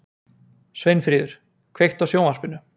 Sveinfríður, kveiktu á sjónvarpinu.